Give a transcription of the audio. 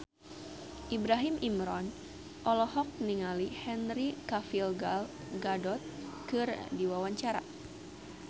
Ibrahim Imran olohok ningali Henry Cavill Gal Gadot keur diwawancara